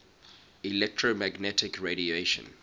electromagnetic radiation